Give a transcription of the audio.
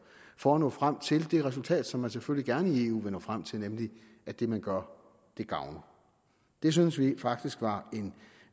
for at nå frem til det resultat som man selvfølgelig gerne i eu vil nå frem til nemlig at det man gør gavner det synes vi faktisk var en